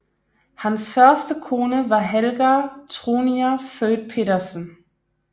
Hans første kone var Helga Tronier født Petersen